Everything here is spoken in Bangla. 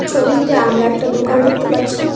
ছবিটিতে আমরা একটা দোকান দেখতে পাচ্ছি।